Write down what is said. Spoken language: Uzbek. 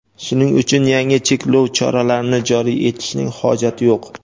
shuning uchun yangi cheklov choralarini joriy etishning hojati yo‘q.